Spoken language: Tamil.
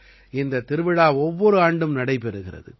இந்தத் திருவிழா ஒவ்வொரு ஆண்டும் நடைபெறுகிறது